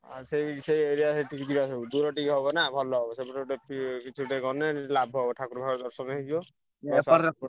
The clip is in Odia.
ଆଉ ସେଇ ସେ area ସେଠିକି ଯିବା ସବୁ ଦୂର ଟିକେ ହବ ନା ଭଲ ହବ ସେପଟେ ଗୋଟେ ଇଏ କିଛି ଗୋଟେ ଗଲେ ଲାଭ ହବ ଠାକୁର ଫାକୁର ଦର୍ଶନ ହେଇଯିବ।